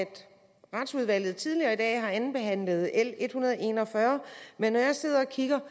retsudvalget tidligere i dag har andenbehandlet l en hundrede og en og fyrre men når jeg sidder og kigger